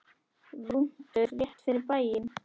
Rúntur rétt út fyrir bæinn.